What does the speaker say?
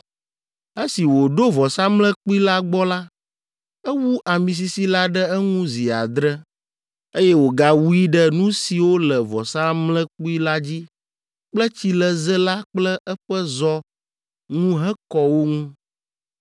Esi wòɖo vɔsamlekpui la gbɔ la, ewu ami sisi la ɖe eŋu zi adre, eye wògawui ɖe nu siwo le vɔsamlekpui la dzi kple tsileze la kple eƒe zɔ ŋu hekɔ wo ŋu.